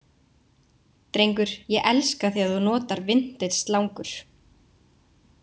Drengur, ég elska þegar þú notar vintage slangur.